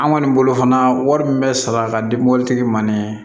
An kɔni bolo fana wari min bɛ sara ka di mobilitigi ma nin ye